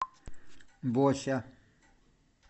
бося